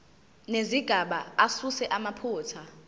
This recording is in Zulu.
nezigaba asuse amaphutha